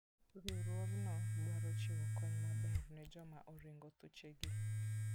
Riwruogno dwaro chiwo kony maber ne joma oringo thuchegi.